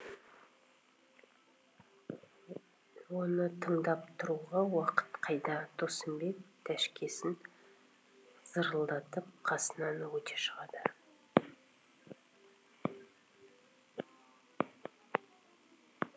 оны тыңдап тұруға уақыт қайда досымбек тәшкесін зырылдатып қасынан өте шығады